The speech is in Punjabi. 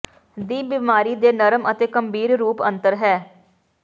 ਦੀ ਬਿਮਾਰੀ ਦੇ ਨਰਮ ਅਤੇ ਗੰਭੀਰ ਰੂਪ ਅੰਤਰ ਹੈ